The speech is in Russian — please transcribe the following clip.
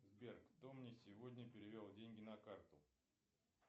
сбер кто мне сегодня перевел деньги на карту